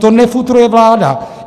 To nefutruje vláda.